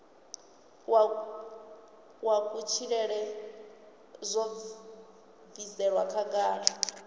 wa kutshilele zwo bviselwa khagala